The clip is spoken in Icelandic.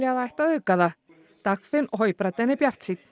það ætti að auka það Dagfinn Høybråten er bjartsýnn